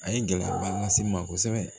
A ye gɛlɛyaba lase n ma kosɛbɛ